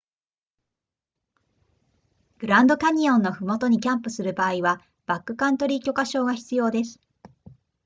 グランドキャニオンのふもとにキャンプする場合はバックカントリー許可証が必要です